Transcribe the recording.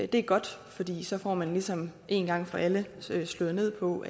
det er godt fordi så får man ligesom en gang for alle slået ned på